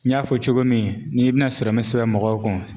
N y'a fɔ cogo min n'i bɛna mɛ sɛbɛ mɔgɔw kun.